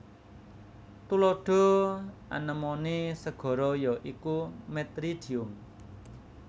Tuladha anemone segara ya iku Metridium